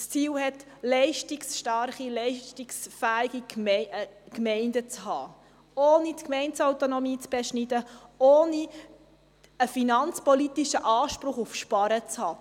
Sie hat leistungsstarke, leistungsfähige Gemeinden zum Ziel, und zwar ohne die Gemeindeautonomie zu beschneiden, ohne einen finanzpolitischen Anspruch auf Sparen zu haben.